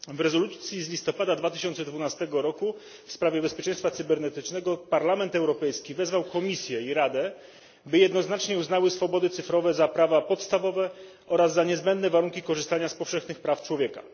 Pani Przewodnicząca! W rezolucji z listopada 2012 r. w sprawie bezpieczeństwa cybernetycznego Parlament Europejski wezwał Komisję i Radę, by jednoznacznie uznały swobody cyfrowe za prawa podstawowe oraz za niezbędne warunki korzystania z powszechnych praw człowieka.